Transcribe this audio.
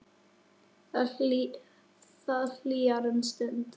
Það hlýjar um stund.